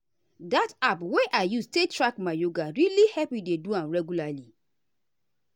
that app wey i use take track my yoga really help me dey do am regularly.